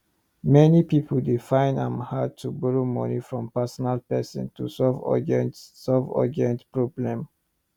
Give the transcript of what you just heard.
many pipo dey fine am hard to borrow moni from personal person to solve urgent solve urgent problem